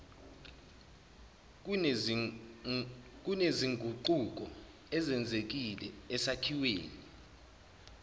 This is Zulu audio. kunezinguquko ezenzekile esakhiweni